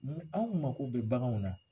Mun anw mako bɛ baganw na